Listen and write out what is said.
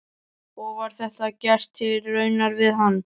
Og var þetta gert til raunar við hann.